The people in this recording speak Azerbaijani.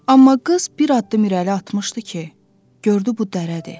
Amma qız bir addım irəli atmışdı ki, gördü bu dərədir.